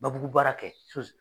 Babugu baarakɛ